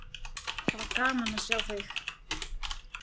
Það var gaman að sjá þig!